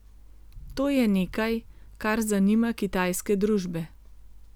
To je nekaj, kar zanima kitajske družbe.